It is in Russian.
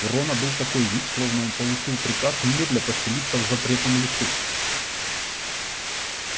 у рона был такой вид словно он получил приказ немедля поселиться в запретном лесу